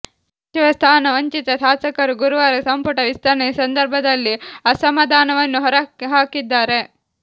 ಸಚಿವ ಸ್ಥಾನ ವಂಚಿತ ಶಾಸಕರು ಗುರುವಾರ ಸಂಪುಟ ವಿಸ್ತರಣೆ ಸಂದರ್ಭದಲ್ಲಿ ಅಸಮಾಧಾನವನ್ನು ಹೊರಹಾಕಿದ್ದಾರೆ